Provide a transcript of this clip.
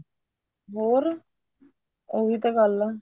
ਹੋਰ ਉਹੀ ਤਾਂ ਗੱਲ ਆ